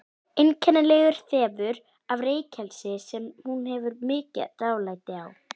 Einkennilegur þefur af reykelsi sem hún hefur mikið dálæti á.